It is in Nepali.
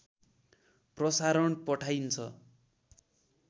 प्रसारण पठाइन्छ